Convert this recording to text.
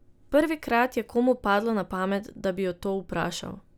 Prvikrat je komu padlo na pamet, da bi jo to vprašal.